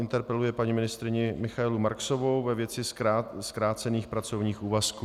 Interpeluje paní ministryni Michaelu Marksovou ve věci zkrácených pracovních úvazků.